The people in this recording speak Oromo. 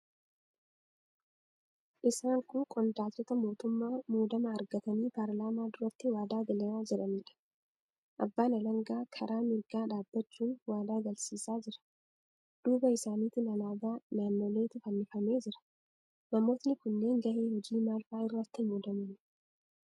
Isaan kun qondaaltota muutummaa muudama argatanii paarlaamaa duratti waadaa galaa jiraniidha. Abbaan alangaa karaa mirgaa dhaabbachuun waadaa galchisiisaa jira. Duuba isaaniitiin alaabaa naannoleetu fannifamee jira. Namootni kunneen gahee hojii maal faa irratti muudamani?